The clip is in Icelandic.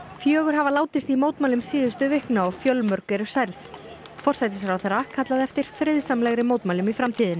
fjögur hafa látist í mótmælum síðustu vikna og fjölmörg eru særð forsætisráðherra kallaði eftir friðsamlegri mótmælum í framtíðinni